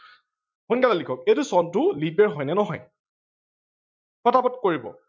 সোনকালে লিখক এইটো চনটো leap year হয় নে নহয়, পতাপত কৰিব।